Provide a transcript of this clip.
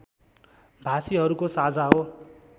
भाषीहरूको साझा हो